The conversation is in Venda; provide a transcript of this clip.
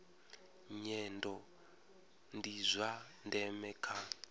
nyendo ndi zwa ndeme kha